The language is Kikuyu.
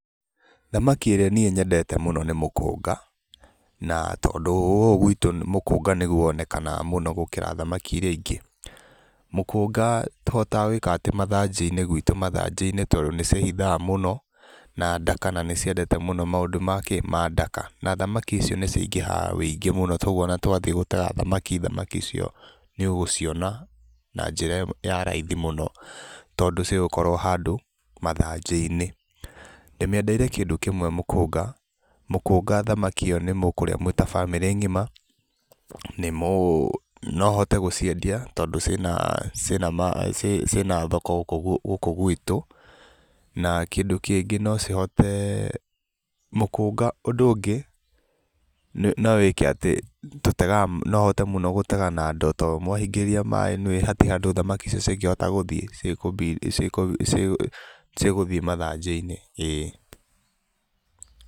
Thamaki ĩria niĩ nyendete mũno nĩ mũkũnga, na tondũ gũkũ gwitũ mũkũnga nĩguo wonekanaga mũno gũkĩra thamaki iria ingĩ, mũkũnga tũhotaga gwĩka atĩ mathanjĩ - inĩ gwitũ, mathanjĩ - inĩ tondũ nĩ cĩĩhithaga mũno na ndaka, na nĩciendete mũno maũndũ makĩĩ mandaka, na thamaki icio nĩ cingĩhaga wĩingĩ mũno, kwoguo ona twathĩĩ gũtaha thamaki thamaki icio nĩ ũgũciona na njĩra ya raithi mũno, tondũ cigũkorwo handũ mathanjĩ - inĩ, ndĩmiendeire kĩndũ kĩmwe mũkũnga, mũkũnga thamaki ĩyo nĩ mũkuria mwĩ ta bamĩrĩ ngima, nĩ mũ, nouhote gũciendia tondũ cĩĩna cĩĩna maa cĩĩna thoko gũku gũku gwitũ, na kĩndũ kĩngĩ nocihote, mũkũnga ũndũ ũngĩ, no wĩke atĩ, tũtegaga no ũhote mũno gũtega na ndoo, to mwahingĩrĩria maaĩ noĩ hatirĩ handũ thamaki icio cingĩhota gũthiĩ ciĩ kũ ciĩ kũbi cigũthiĩ mathanjĩ - inĩ ĩĩ.